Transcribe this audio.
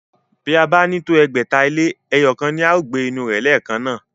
Bí ó bá ní tó ẹgbẹ̀ta ilé, ẹyọ̀kan ni o lè gbé inú rẹ̀ lẹ́ẹ̀kan náà